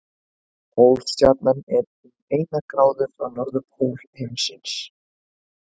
Pólstjarnan er um eina gráðu frá norðurpól himins.